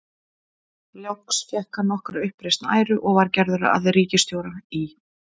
Loks fékk hann nokkra uppreisn æru og var gerður að ríkisstjóra í